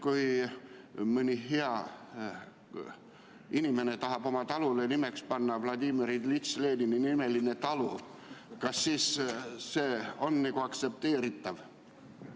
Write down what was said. Kui mõni hea inimene tahab oma talule panna nimeks Vladimir Iljitš Lenini nimeline talu, siis kas see on aktsepteeritav?